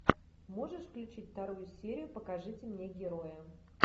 можешь включить вторую серию покажите мне героя